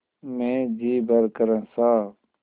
मैं जी भरकर हँसा